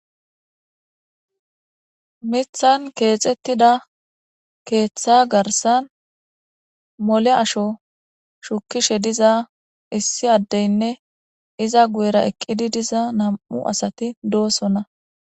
mithan keexettida keeththa garsan mole asho shukishe diza issi addeynne iza guyera eqqidi diza nam'u asati doosonna